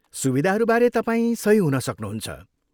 सुविधाहरूबारे तपाईँ सही हुन सक्नुहुन्छ।